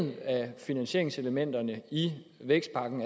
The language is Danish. finansieringselementerne i vækstpakken